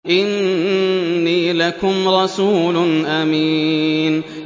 إِنِّي لَكُمْ رَسُولٌ أَمِينٌ